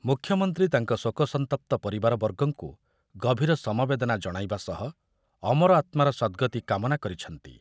ମୁଖ୍ୟମନ୍ତ୍ରୀ ତାଙ୍କ ଶୋକସନ୍ତପ୍ତ ପରିବାରବର୍ଗଙ୍କୁ ଗଭୀର ସମବେଦନା ଜଣାଇବା ସହ ଅମର ଆତ୍ମାର ସଦ୍‌ଗତି କାମନା କରିଛନ୍ତି।